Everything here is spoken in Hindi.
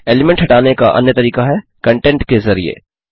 एलीमेंट हटाने का अन्य तरीका है कंटेंट के ज़रिए